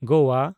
Goa